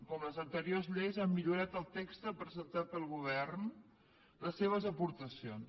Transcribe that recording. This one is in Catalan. com en les anteriors lleis han millorat el text presentat pel govern les seves aportacions